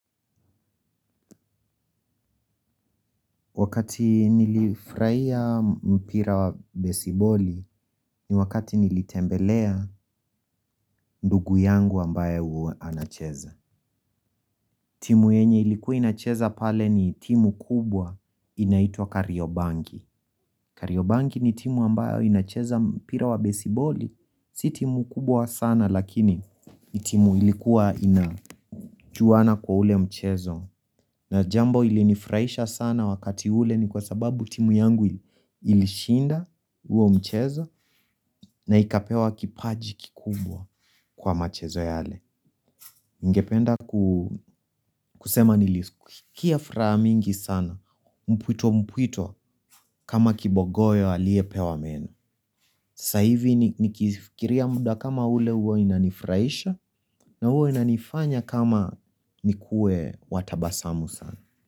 Wakati nilifurahia mpira wa besiboli ni wakati nilitembelea ndugu yangu ambaye uanacheza. Timu yenye ilikuwa inacheza pale ni timu kubwa inaitwa kariobangi. Kariobangi ni timu ambayo inacheza mpira wa besiboli. Si timu kubwa sana lakini timu ilikuwa inajuana kwa ule mchezo. Na jambo ili nifurahisha sana wakati ule ni kwa sababu timu yangu ilishinda huo mchezo na ikapewa kipaji kikubwa kwa machezo yale. Ningependa kusema niliskia furaha mingi sana mpwito mpwito kama kibogoyo aliyepewa meno. Sa hivi nikifikiria muda kama ule huwa inanifuraisha na huwa inanifanya kama nikuwe watabasamu sana.